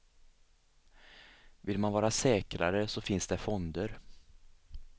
Vill man vara säkrare så finns det fonder.